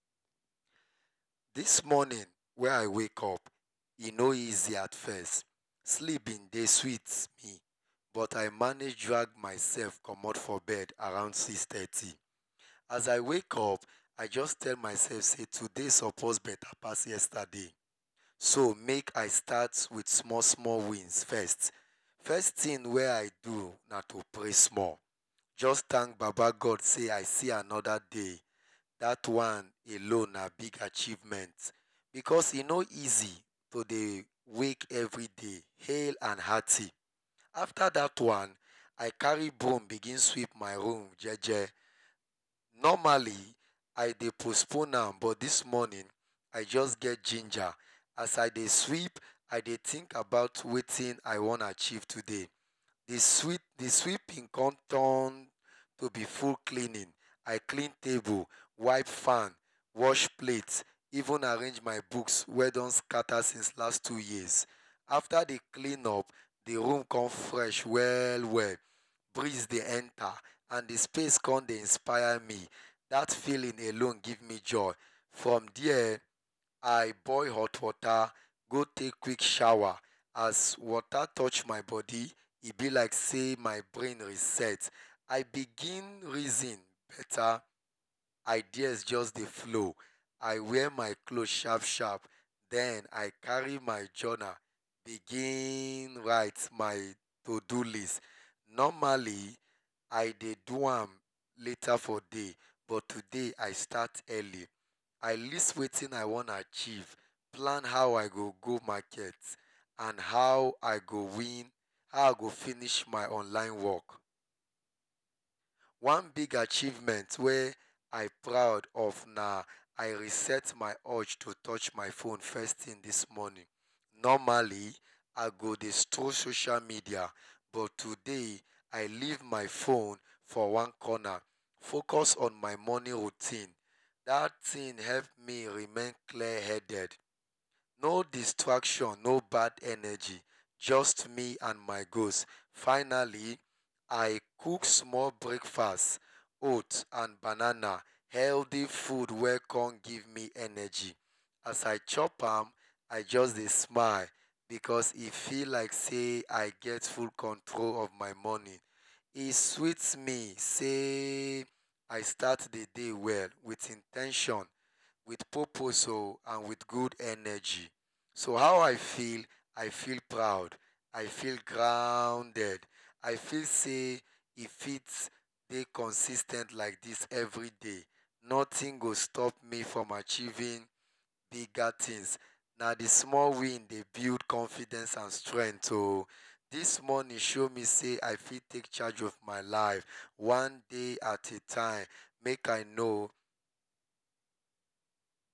Dis morning wey i wake up e no easy at first, sleep been dey sweet me but i mange commot myself from bed around six thirty as i wake up i just tell myself sey today suppose beta pass yesterday so make i start with small small wins first, first tin wey i do na to pray small, jus tank baba God sey i see anoda day dat one na big achievement because e no easy to dey wake everyday hail and hearty, afta dat one i carry broom begin sweet my room jeje, normally i dey postpone am but dis morning i jus get giner, as i dey sweep i dey think about wetin i wan achieve today, d swweping con turn to b full cleaning, i clean table, wipe fan, wash plate even arrange my books wey don scatta since last two years, afta d clean up d room on fresh well well, and breeze con dey enta and d space con dey inspire me, dat feeling alone gie me joy, from there i boil hot water con take quick showa, as water touch my body e b like say my brain reset i begin reason bta ideas jus dey flow i wear my cloth sharp sharp, den i carry my journal begin write my to-dio list, normally i dey do am later for day but today i start early, i list wetin i wan achieve, plan how i go go market, plan how i go finish my online work, one big achievement wey i proud of na say i reset my urge to touch my hone first thing dis morning, normally i go dey stroll social media but today i leave my phone for one corner, focus on my morning routine, dat thing help me remain clear headed, no distraction no bad energy jus me and my ghost, finally i cook small breakfast oat and banana, healthy food wey con give me energy, as i chop am i jus dey smile because e feel like say i get full control of my morning, e sweet me sey i start d day well, with in ten tion with purpose and with good energy, so how i feel i feel proud, i feel grounded i feel sey e fit dey consis ten t like dis everyday nothig go stop me from achieving bigger things na d small win dey build confidence and strength oh, dis morning show me sey i fit take charge of my life one day at a time make i know.